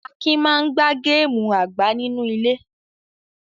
Akin máa ń gbá gáámù àgbá-nínú-ilé.